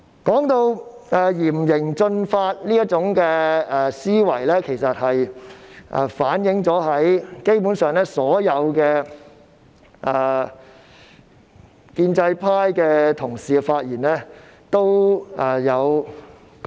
這種嚴刑峻法的思維，基本上反映在所有建制派同事的發言當中。